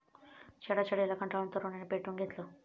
छेडछाडीला कंटाळून तरुणीने पेटवून घेतलं